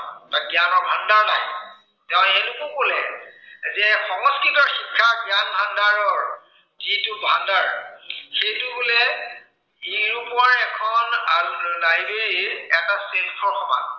যে সংস্কৃতৰ শিক্ষাৰ জ্ঞান ভাণ্ডাৰৰ যিটো ভাণ্ডাৰ, সেইটো বোলে, ইউৰোপৰ এখন ডায়ৰীৰ এটা সমান